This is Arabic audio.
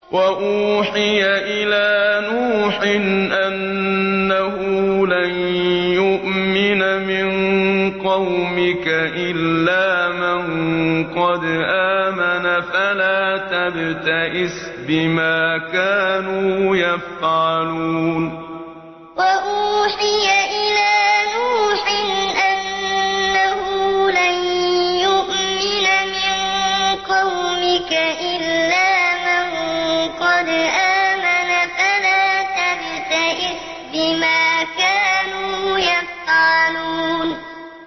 وَأُوحِيَ إِلَىٰ نُوحٍ أَنَّهُ لَن يُؤْمِنَ مِن قَوْمِكَ إِلَّا مَن قَدْ آمَنَ فَلَا تَبْتَئِسْ بِمَا كَانُوا يَفْعَلُونَ وَأُوحِيَ إِلَىٰ نُوحٍ أَنَّهُ لَن يُؤْمِنَ مِن قَوْمِكَ إِلَّا مَن قَدْ آمَنَ فَلَا تَبْتَئِسْ بِمَا كَانُوا يَفْعَلُونَ